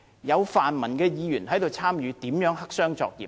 有泛民的區議員參與其中，如何黑箱作業？